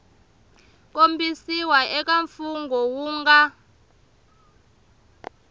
kombisiwa eka mfungho wu nga